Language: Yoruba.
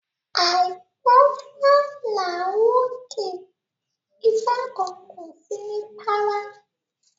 Àìgbọ́fá làá wòkè ifá kan kan kò sí ní párá